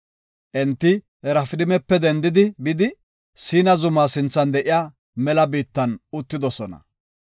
Enti Rafidimape dendidi bidi, Siina zuma sinthan de7iya mela biittan uttidosona.